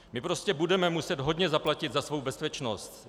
My prostě budeme muset hodně zaplatit za svou bezpečnost.